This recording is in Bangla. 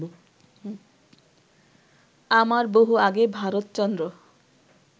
আমার বহু আগে ভারতচন্দ্র